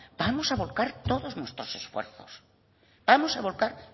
vamos a volcar todos nuestros esfuerzos vamos a volcar